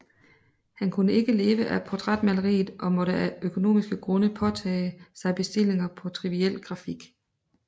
Han kunne ikke leve af portrætmaleriet og måtte af økonomiske grunde påtage sig bestillinger på triviel grafik